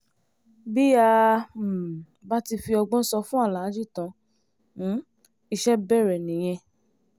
bí a um bá ti fi ọgbọ́n sọ fún aláàjì tan um iṣẹ́ bẹ̀rẹ̀ nìyẹn